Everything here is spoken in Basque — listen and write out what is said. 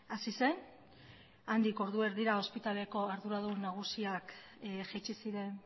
hasi zen handik ordu erdira ospitaleko arduradun nagusiak jaitsi ziren